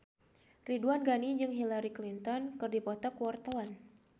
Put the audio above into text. Ridwan Ghani jeung Hillary Clinton keur dipoto ku wartawan